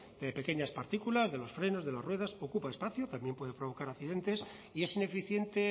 de pequeñas partículas de los frenos de las ruedas ocupa espacio también puede provocar accidentes y es ineficiente